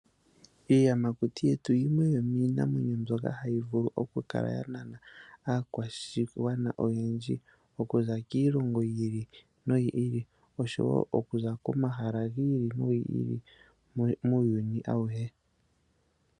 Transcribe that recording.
Iiyamakuti yetu yimwe yomii namwenyo mbyoka hayi vulu oku kala ya nana aakwashigwana oyendji, okuza kiilongo yiili no yiili osho wo oku za koma hala giili nogiili muuyuni awuhe.